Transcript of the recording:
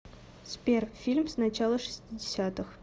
сбер фильм с начала шестидесятых